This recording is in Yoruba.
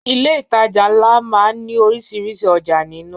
Ilé ìtajà ńlá má ń ní orísìírísìí ọjà nínú